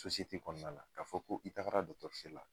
kɔnɔna la ka fɔ ko i taa la dɔgɔtɔrɔso la.